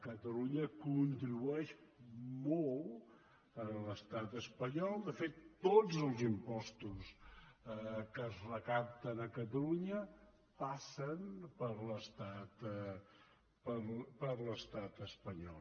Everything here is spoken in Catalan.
catalunya contribueix molt a l’estat espanyol de fet tots els impostos que es recapten a catalunya passen per l’estat espanyol